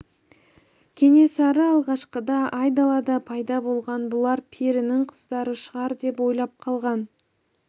кенесары алғашқыда айдалада пайда болған бұлар перінің қыздары шығар деп ойлап қалған